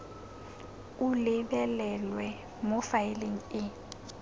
o lebelelwe mo faeleng e